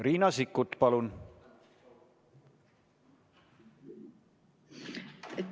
Riina Sikkut, palun!